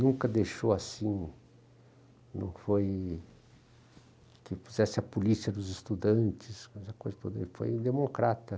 Nunca deixou assim, não foi que fizesse a polícia dos estudantes, foi um democrata.